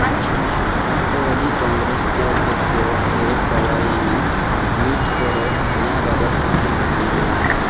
राष्ट्रवादी काँग्रेसचे अध्यक्ष शरद पवार यांनी ट्विट करत याबाबत आपले म्हणणे मांडले.